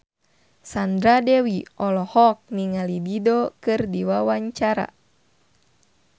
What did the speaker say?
Sandra Dewi olohok ningali Dido keur diwawancara